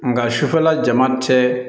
Nka sufɛla jama tɛ